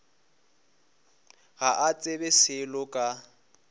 ga a tsebe selo ka